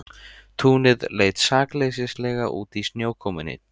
Túnið leit sakleysislega út í snjókomunni.